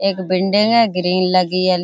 एक बिल्डिंग है ग्रिल लगी है।